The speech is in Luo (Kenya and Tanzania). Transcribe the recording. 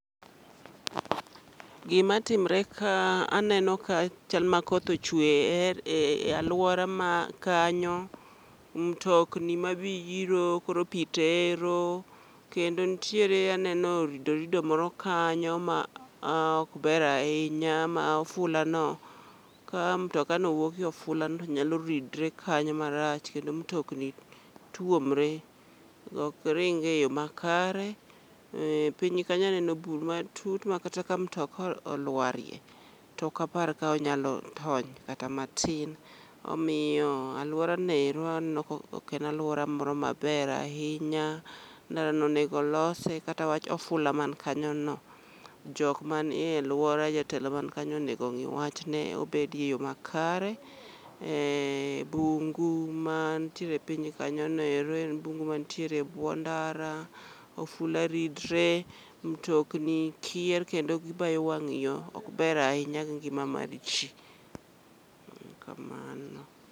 Gima timre ka, aneno ka chal ma koth ochwe e er, e alwora ma kanyo. Mtokni ma biro koro pi tero, kendo ntiere aneno oridorido moro kanyo ma ok ber ahinya ma fula no ka mtoka no wuok e ofula no to nyalo ridre kanyo marach. Kendo mtokni tuomre, ok ring e yo makare. Ee piny kanyo aneno bur matut ma kata ka mtoka olwarie, tokapar ka onyalo tony kata matin. Omiyo alworano ero aneno ka ok en alwora maber ahinya, ndara no onego olose kata wach ofula man kanyo no, jok man e lwora jatelo man kanyo onego ong'i wachne obedie yo makare. Eh, bungu man tiere piny kanyono ero en bungu mantiere e bwo ndara. Ofula ridre, mtokni kier kendo gibayo wang' yo, ok ber ahinya gi ngima mar ji. En kamano.